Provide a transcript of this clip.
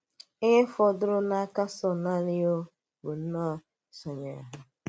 Íhè fọ̀dụrụ̀ n’áka Sọ̀l nànị̀ um bụ̀ um ísonyèrè hà.